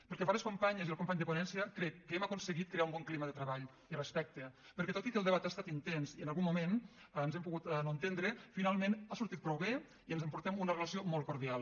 pel que fa a les companyes i al company de ponència crec que hem aconseguit crear un bon clima de treball i respecte perquè tot i que el debat ha estat intens i en algun moment ens hem pogut no entendre finalment ha sortit prou bé i ens n’emportem una relació molt cordial